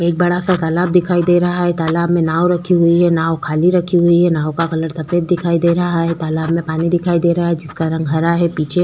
एक बड़ा सा तालाब दिखाई दे रहा है तालाब में नाव रखी हुई है नाव खाली रखी हुई है नाव का कलर सफेद दिखाई दे रहा है तालाब में पानी दिखाई दे रहा है जिसका रंग हरा है पीछे--